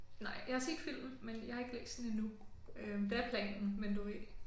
Nej. Jeg har set filmen men jeg har ikke læst den endnu det er planen men du ved